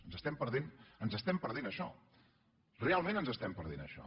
ens estem perdent ens ho estem perdent això realment ens estem perdent això